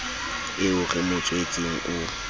eo re mo tswetseng o